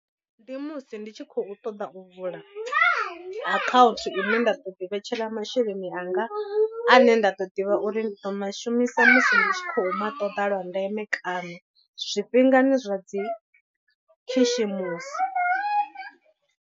Ndi musi ndi tshi khou ṱoḓa u vula account ine nda ḓo ḓi vhetshela masheleni anga ane nda ḓo ḓivha uri ndi ḓo mashumisa musi ndi tshi khou ma ṱoḓa lwa ndeme kana zwifhingani zwa dzi khishimusi.